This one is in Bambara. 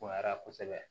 Bonya kosɛbɛ